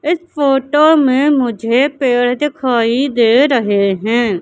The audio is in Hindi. इस फोटो में मुझे पेड़ दिखाई दे रहे हैं।